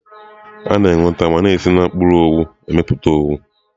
A na-enweta ma na-esi na mkpụrụ owu na-amịpụta owu.